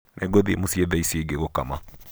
nĩngũthiĩ mũciĩ thaa icio ingĩ gũkama